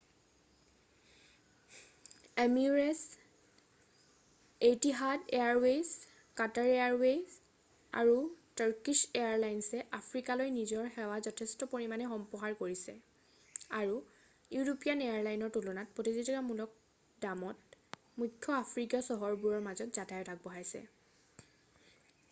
emirates Etihad Airways' Qatar Airways' আৰু Turkish এয়াৰলাইনছে আফ্ৰিকালৈ নিজৰ সেৱা যথেষ্ট পৰিমাণে সম্প্ৰসাৰ কৰিছে আৰু ইউৰোপীয়ান এয়াৰলাইনৰ তুলনাত প্ৰতিযোগিতামূলক দামত মুখ্য আফ্ৰিকীয় চহৰবোৰৰ মাজত যাতায়ত আগবঢ়াইছে